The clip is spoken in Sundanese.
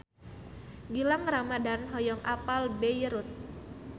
Gilang Ramadan hoyong apal Beirut